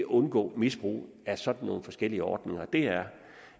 undgå misbrug af sådan nogle forskellige ordninger er